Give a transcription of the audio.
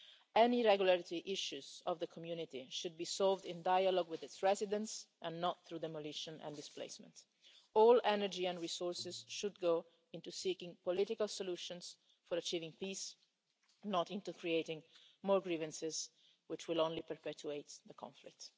Any irregularity issues in the community should be solved in dialogue with its residents and not through demolition and displacement. All energy and resources should go into seeking political solutions for achieving peace, not into creating more grievances, which will only perpetuate the conflict.